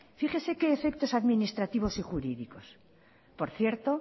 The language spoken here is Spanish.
fíjese que efectos administrativos y jurídicos por cierto